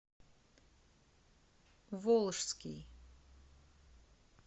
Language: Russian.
волжский